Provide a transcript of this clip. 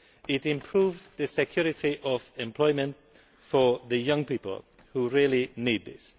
It improves the security of employment for the young people who really need this.